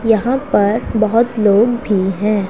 यहां पर बहोत लोग भी हैं।